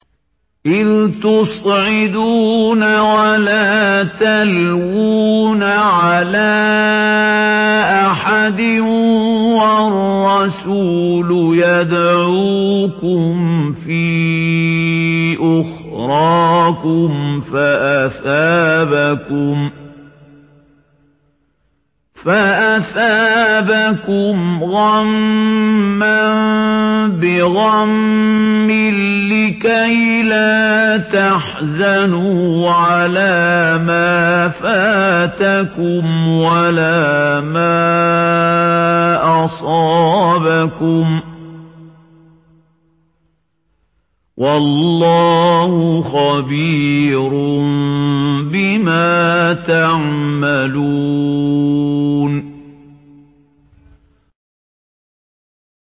۞ إِذْ تُصْعِدُونَ وَلَا تَلْوُونَ عَلَىٰ أَحَدٍ وَالرَّسُولُ يَدْعُوكُمْ فِي أُخْرَاكُمْ فَأَثَابَكُمْ غَمًّا بِغَمٍّ لِّكَيْلَا تَحْزَنُوا عَلَىٰ مَا فَاتَكُمْ وَلَا مَا أَصَابَكُمْ ۗ وَاللَّهُ خَبِيرٌ بِمَا تَعْمَلُونَ